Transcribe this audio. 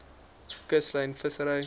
kuslyn vissery